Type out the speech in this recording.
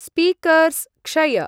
Speakers क्षय।